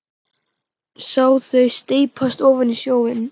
Sá þau steypast ofan í sjóinn.